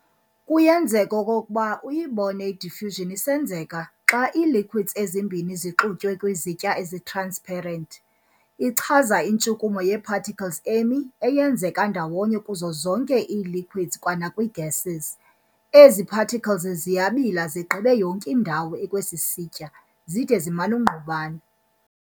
Kuyenzeka okokuba uyibone i-diffusion isenzeka xa ii-liquids ezimbini zixutywe kwizitya ezi-transparent. Ichaza intshukumo yee-particles emi eyenzeka ndawonye kuzo zonke ii-liquids kwanakwii- gases.ezi particles ziyabula zigqibe yonke indawo ekwesi sitya zide ziman'ukungqubana.